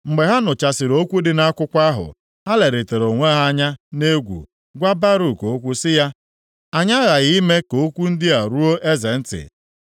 Mgbe ha nụchasịrị okwu dị nʼakwụkwọ ahụ, ha lerịtara onwe ha anya nʼegwu, gwa Baruk okwu sị ya, “Anyị aghaghị ime ka okwu ndị a ruo eze ntị.”